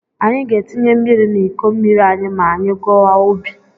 Anyị ga-etinye mmiri n'iko mmiri anyị ma anyị gawa ubi.